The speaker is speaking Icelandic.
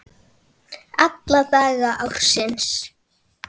Alla daga ársins!